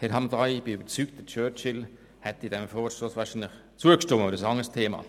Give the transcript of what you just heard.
Aber das ist ein anderes Thema.